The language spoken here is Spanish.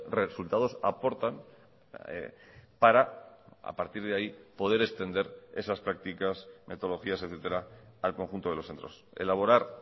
resultados aportan para a partir de ahí poder extender esas prácticas metodologías etcétera al conjunto de los centros elaborar